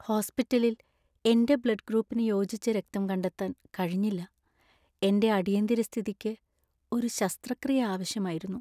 ഹോസ്പിറ്റലില്‍ എന്‍റെ ബ്ലഡ്‌ ഗ്രൂപ്പിന് യോജിച്ച രക്തം കണ്ടെത്താന്‍ കഴിഞ്ഞില്ല. എന്‍റെ അടിയന്തിര സ്ഥിതിക്ക് ഒരു ശസ്ത്രക്രിയ ആവശ്യമായിരുന്നു.